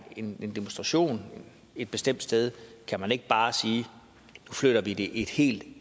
en demonstration et bestemt sted kan man ikke bare sige at nu flytter vi det et helt